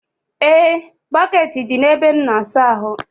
E, bọkeeti dị na ebe m n'asa ahụ.